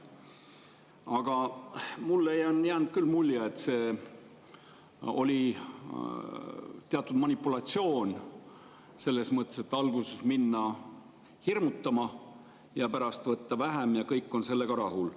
Aga mulle on jäänud küll mulje, et see oli teatud manipulatsioon selles mõttes, et alguses minna hirmutama ja pärast võtta vähem ja kõik on sellega rahul.